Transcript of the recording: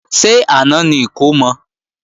Ṣé àná ni ìkómọ?